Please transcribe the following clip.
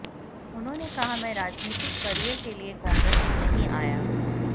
उन्होंने कहा मैं राजनीतिक करियर के लिए कांग्रेस में नहीं आया